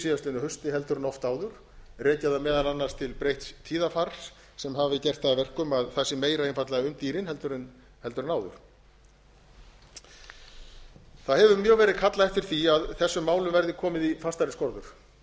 síðastliðnu hausti heldur en oft áður rekja það meðal annars til breytts tíðarfars sem hafi gert það að verkum að það sé meira einfaldlega um dýrin heldur en áður það hefur mjög verið kallað eftir því að þessum málum gerði komið í fastari skorður